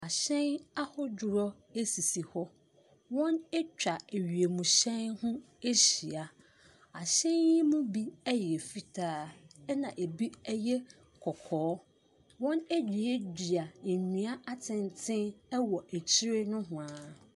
Ahyɛn ahodoɔ sisi hɔ. Wɔn atwa ewiemhyɛm ho ahyia. Ahyɛn yi mu bi ɛyɛ fitaa na ebi ɛyɛ kɔkɔɔ. Wɔn aduadua nnua atenten wɔ akyire nohwaa.